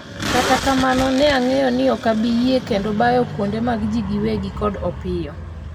kata kamano, ne ang'eyo ni ok abi yie kendo bayo kuonde mag ji gi wegi kod Opiyo